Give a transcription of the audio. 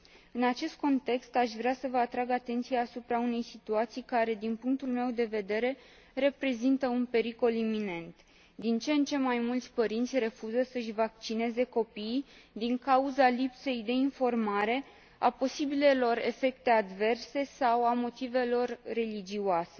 În acest context, aș vrea să vă atrag atenția asupra unei situații care, din punctul meu de vedere, reprezintă un pericol iminent din ce în ce mai mulți părinți refuză să își vaccineze copiii din cauza lipsei de informare, a posibilelor efecte adverse sau a motivelor religioase.